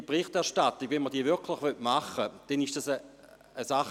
Diese Berichterstattung ist etwas, das wir nicht leisten können.